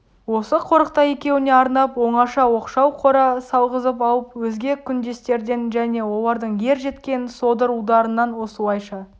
осы қорықта екеуіне арнап оңаша оқшау қора салғызып алып өзге күндестерден және олардың ер жеткен содыр ұлдарынан осылайша